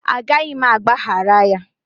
A gaghị m agbaghara ya